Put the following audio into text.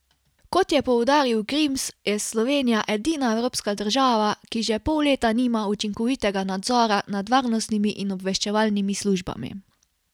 Kot je poudaril Grims, je Slovenija edina evropska država, ki že pol leta nima učinkovitega nadzora nad varnostnimi in obveščevalnimi službami.